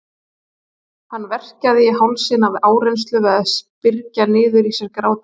Hann verkjaði í hálsinn af áreynslu við að byrgja niður í sér grátinn.